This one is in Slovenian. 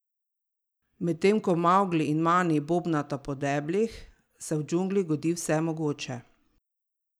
Medtem ko Mavgli in Mani bobnata po deblih, se v džungli godi vse mogoče.